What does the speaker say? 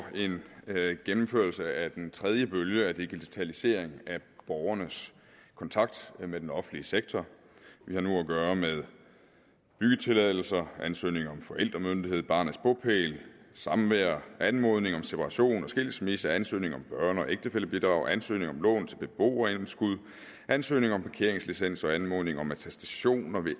en gennemførelse af den tredje bølge af digitalisering af borgernes kontakt med den offentlige sektor vi har nu at gøre med byggetilladelser ansøgning om forældremyndighed barnets bopæl samvær anmodning om separation og skilsmisse ansøgning om børne og ægtefællebidrag ansøgning om lån til beboerindskud ansøgning om parkeringslicens og anmodning om attestationer